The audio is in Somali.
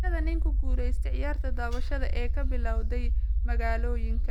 Sheekada nin ku guulaysta ciyaarta dabaasha ee ka bilowday magalooyinka .